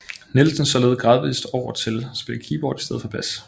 Nielsen således gradvist over til at spille keyboard i stedet for bas